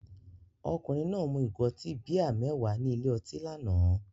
Ọkùnrin náà mu ìgò ọtí bíà mẹ́wàá ní ilé ọtí lánàá.